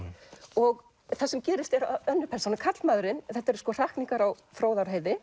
og það sem gerist er að önnur persónan karlmaðurinn þetta eru sko hrakningar á